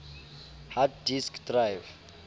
hard disk drive